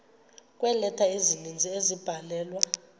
kweeleta ezininzi ezabhalelwa